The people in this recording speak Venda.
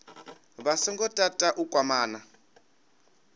vha songo tata u kwamana